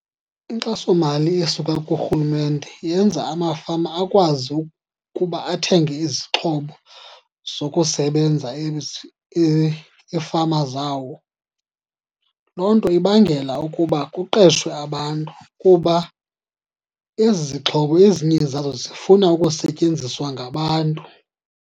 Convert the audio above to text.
Inkxasomali esuka kurhulumente yenza amafama akwazi ukuba athenge izixhobo zokusebenza iifama zawo. Loo nto ibangela ukuba kuqeshwe abantu kuba ezi zixhobo ezinye zazo zifuna ukusetyenziswa ngabantu.